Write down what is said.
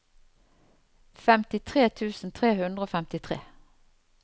femtitre tusen tre hundre og femtitre